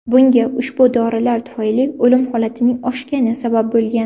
Bunga ushbu dorilar tufayli o‘lim holatining oshgani sabab bo‘lgan.